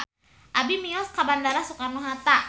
Abi bade mios ka Bandara Soekarno Hatta